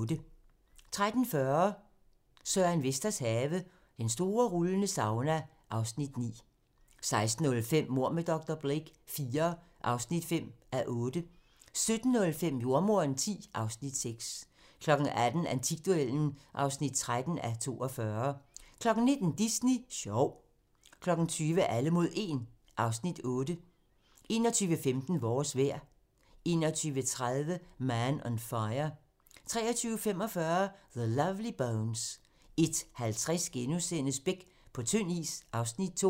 13:40: Søren Vesters have - Den store rullende sauna (Afs. 9) 16:05: Mord med dr. Blake IV (5:8) 17:05: Jordemoderen X (Afs. 6) 18:00: Antikduellen (13:42) 19:00: Disney Sjov 20:00: Alle mod 1 (Afs. 8) 21:15: Vores vejr 21:30: Man on Fire 23:45: The Lovely Bones 01:50: Beck - på tynd is (Afs. 2)*